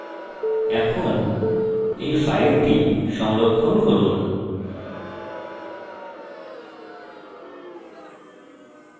এখন এই file সংরক্ষণ করুন